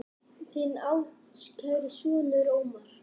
Þinn ástkæri sonur, Ómar.